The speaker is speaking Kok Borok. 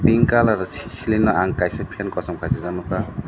pink colour sislei no ang kaisa fan kosom kasijak nogkha.